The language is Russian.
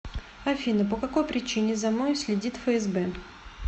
афина по какой причине за мной следит фсб